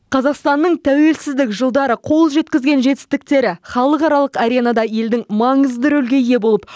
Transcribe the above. қазақстанның тәуелсіздік жылдары қол жеткізген жетістіктері халықаралық аренада елдің маңызды рөлге ие болып